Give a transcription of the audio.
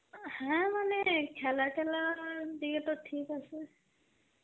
হ্যাঁ মানে খেলা তেলা দিয়েতো ঠিক আসে.